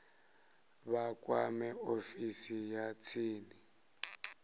vha kwame ofisi ya tsini